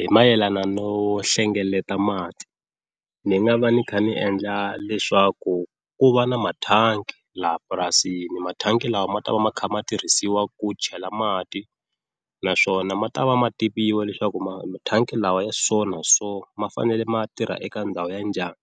Hi mayelana no hlengeleta mati ni nga va ni kha ni endla leswaku ku va na mathangi laha purasini mathangi lama ma ta va ma kha ma tirhisiwa ku chela mati naswona ma ta va ma tiviwa leswaku ma mathangi lawa ya so na so ma fanele ma tirha eka ndhawu ya njhani,